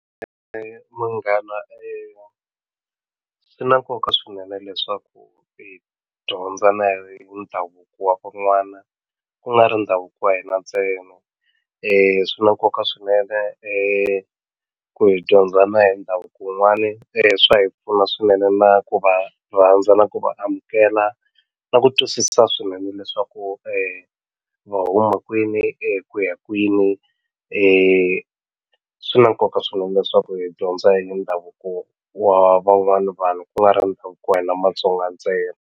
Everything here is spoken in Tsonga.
munghana swi na nkoka swinene leswaku mi dyondza na ndhavuko wa van'wana ku nga ri ndhavuko wa hina ntsena swi na nkoka swinene ku hi dyondza na hi ndhavuko wun'wani swa hi pfuna swinene na ku va rhandza na ku va amukela na ku twisisa swinene leswaku va huma kwini ku ya kwini e swi na nkoka swinene leswaku hi dyondza hi ndhavuko wa van'wani vanhu ku nga ri na ndhavuko wa hina Matsonga ntsena.